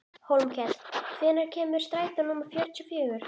Hólmkell, hvenær kemur strætó númer fjörutíu og fjögur?